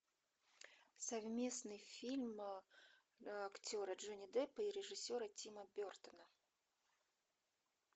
совместный фильм актера джонни деппа и режиссера тима бертона